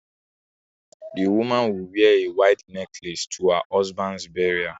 The woman will wear a white necklace to her husband's burial